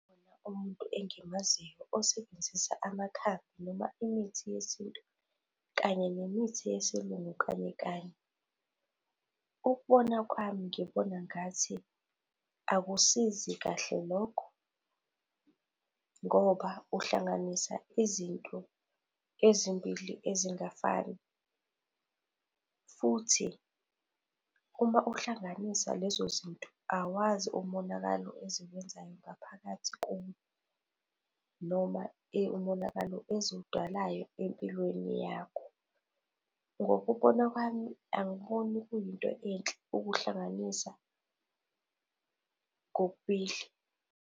umuntu engimaziyo osebenzisa amakhambi noma imithi yesintu kanye nemithi yesiLungu kanye kanye. Ukubona kwami, ngibona ngathi akusizi kahle lokho ngoba uhlanganisa izinto ezimbili ezingafani futhi uma uhlanganisa lezozinto, awazi umonakalo eziwenzayo ngaphakathi kuwe noma umonakalo eziwudalayo empilweni yakho. Ngokubona kwami, angiboni kuyinto enhle ukuhlanganisa kokubili.